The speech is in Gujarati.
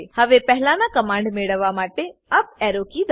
હવે પહેલાના કમાંડ મેળવવા માટે યુપી એરો કી દબાઓ